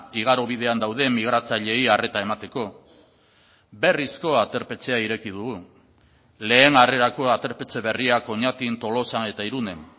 igarobidean dauden migratzaileei arreta emateko berrizko aterpetxea ireki dugu lehen harrerako aterpetxe berriak oñatin tolosan eta irunen